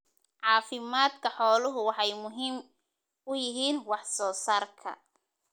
Caafimaadka xooluhu waxay muhiim u yihiin wax soo saarka.